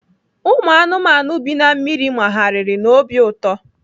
Ụmụ anụmanụ bi na mmiri magharịrị n'obi ụtọ.